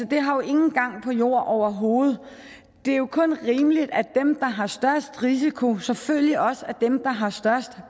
det har jo ingen gang på jord overhovedet det er jo kun rimeligt at dem der har størst risiko selvfølgelig også er dem der har størst